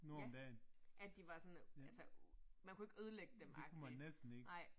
Ja, at de var sådan. Man kunne ikke ødelægge dem agtig